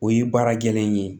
O ye baara gɛlɛnlen ye